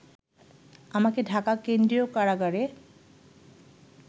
আমাকে ঢাকা কেন্দ্রীয় কারগারে